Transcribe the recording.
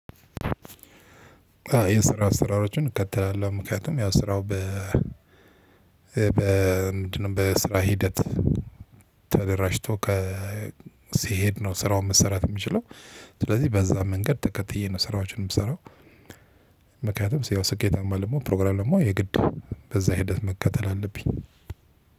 የስራ ስራዎቹን እከተላለሁ ምክንያቱም ያው ስራው በምንድነው በስራ ሂደት ተደራጅቶ ሲሄድ ነው ስራውን መሰራት የሚችለው። ስለዚህ በዛ መንገድ ተከትዬ ነው ስራዎችን የምሰራው። ምክንያቱም ያው ስኬታማ ለመሆን ፕሮግራም ለመሆን የግድ በዛ ሂደት መከተል አለብኝ።